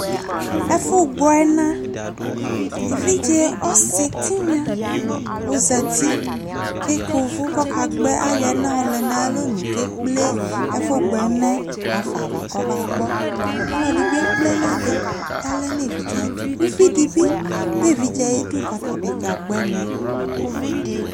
efugbo ena evidje ositigna ozati ku ekeuvu kayoena yole 'ayalonu kekple ekugbo enayomufa nava olodibi ekple enadi olodibie kple enadi yole nevidje ayidu uvidibi du evidje ayidu ku otabi kagbo ene